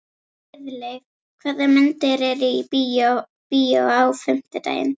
Friðleif, hvaða myndir eru í bíó á fimmtudaginn?